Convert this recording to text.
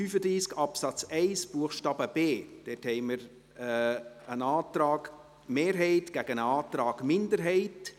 Bei Artikel 35 Absatz 1 Buchstabe b haben wir einen Antrag Mehrheit gegen einen Antrag Minderheit.